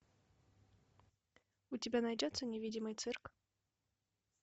у тебя найдется невидимый цирк